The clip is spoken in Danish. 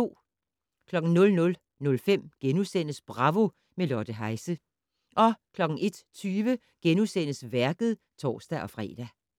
00:05: Bravo - med Lotte Heise * 01:20: Værket *(tor-fre)